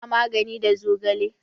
Ana magani da zogale.